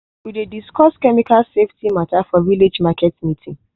we dey discuss chemical safety matter for village market meeting.